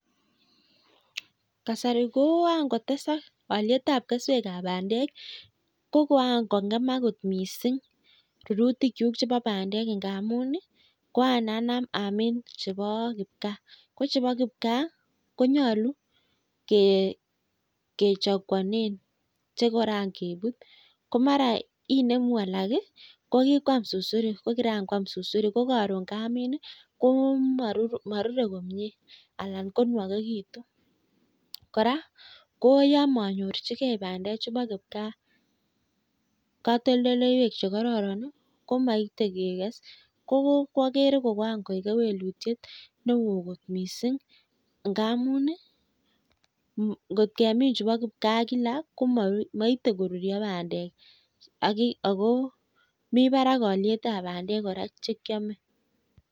Kasari koakotesak olitap keswekap bandek. Kokoan kong'emak kot mising rurutikchuk chebo bandek ngamun kokaanam amin chebo kipgaa. Ko chebo kipgaa konyolu kechaguane che koran keput ko mara inemu alak ko kikoam susurik ko kirankoam susurik ko karon kamin komarurei komie anan konwokekitu. Kora yo manyorchigei bandechu bo kigaa katoltoleiwek che kororon komaitei kekes. Ko kwagere ko kewelutiet neo kot mising ngamun ngot kemin chebo kipgaa kila komaitei korurio bandek. Ako mi barak olietab bandek kora chekeamei.